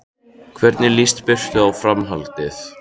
Hvernig líst Birnu á framhaldið?